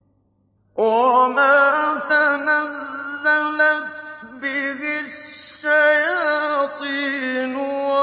وَمَا تَنَزَّلَتْ بِهِ الشَّيَاطِينُ